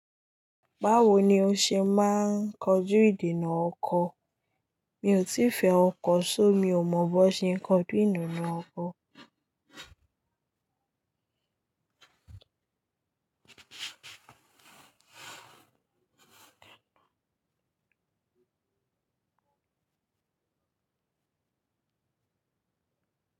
Báwo ni ó ṣe máa ń kọjú ìdènà ọkọ? Mi ò tí fẹ́ ọkọ̀, ṣó mi ò mọ bó ṣe ń kọjú ìdènà ọkọ.